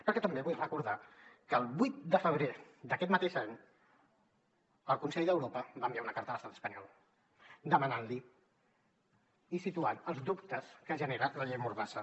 perquè també vull recordar que el vuit de febrer d’aquest mateix any el consell d’europa va enviar una carta a l’estat espanyol demanant li i situant els dubtes que genera la llei mordassa